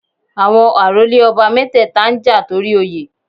Àwọn àrólé ọba mẹ́tẹ̀ẹ̀ta ń jà torí Oyè